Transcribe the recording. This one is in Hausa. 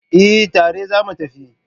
Eh, tare zamu tafi